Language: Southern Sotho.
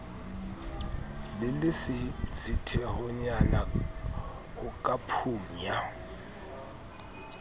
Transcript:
le lesisithehonyana ho ka phunya